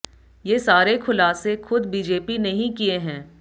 ये सारे खुलासे ख़ुद बीजेपी ने ही किये हैं